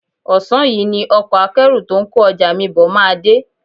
Ọ̀sán yìí ni ọkọ akẹ́rù ́tó ń kó ọjà mi bọ̀ máa dé